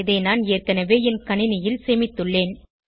இதை நான் ஏற்கனவே என் கணினியில் சேமித்துள்ளேன்